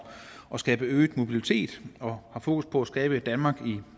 at skabe øget mobilitet og har fokus på at skabe et danmark i